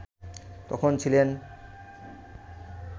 তখন ছিলেন